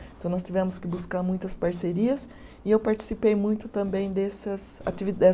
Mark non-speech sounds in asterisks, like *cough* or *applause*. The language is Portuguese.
Então nós tivemos que buscar muitas parcerias e eu participei muito também dessas ativi *unintelligible*